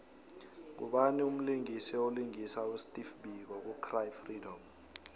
ngubani mlisingisi olingisa usteve biko ku cry freedom